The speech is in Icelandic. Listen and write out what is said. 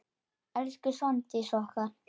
Elsku Svandís okkar.